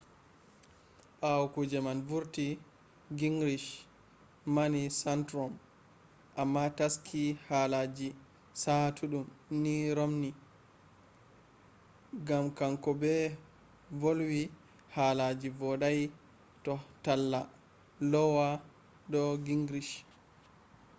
bawo kuje man vurti gingrich mani santorum amma taski halaji saatuddum ni romney gam hanko be volwi halaji vodai ha talla lowa do gingrich